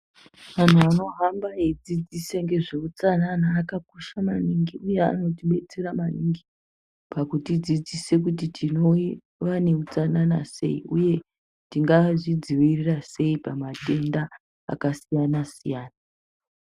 Vantu vanohamba veidzidzisa ngezveutsanana akakosha maningi uye anotidetsera maningi pakudzidzisa kuti tinova neutsanana sei uye tingazvidzivirira sei pamatenda akasiyana siyana.